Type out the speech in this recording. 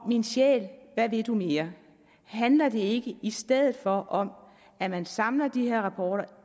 min sjæl hvad vil du mere handler det ikke i stedet for om at man samler de her rapporter